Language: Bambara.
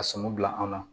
A sɔmi bila anw na